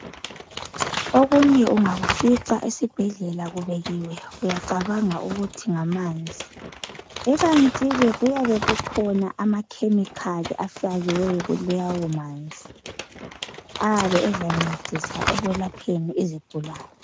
Okunye ungakufica esibhedlela kubekiwe uyacabanga ukuthi ngamanzi. Ikantike kuyabe kukhona amakhemikhali ayabe efakiwe kulawo manzi ayabe ezancedisa ekwelapheni izigulani.